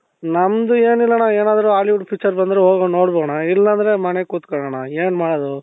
ನಮ್ದು ಏನಿಲ್ಲಣ್ಣ ಏನಾದ್ರು Hollywood picture ಬಂದ್ರೆ ಹೋಗಿ ನೋಡಿ ಬರೋಣ ಇಲ್ಲ ಅಂದ್ರೆ ಮನೆಯಲ್ಲಿ ಕುತ್ಕೊಳೋಣ ಏನ್ ಮಾಡದು ?